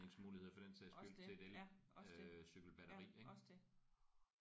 Også det ja også det ja også det